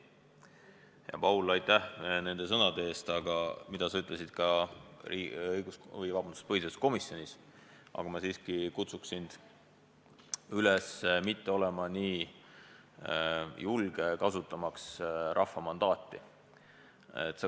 Hea Paul, aitäh nende sõnade eest, mis sa ütlesid ka põhiseaduskomisjonis, aga ma siiski kutsun sind üles mitte olema nii julge, rääkimaks rahva mandaadist.